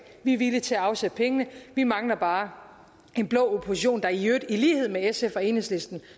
vi er villige til at afsætte pengene vi mangler bare en blå opposition der i øvrigt i lighed med sf og enhedslisten